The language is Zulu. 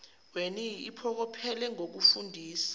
weni iphokophele ngokufundisa